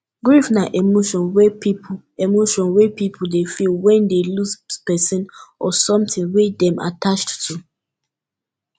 grief na emotion wey pipo emotion wey pipo dey feel when dey lose person or something wey dem attached to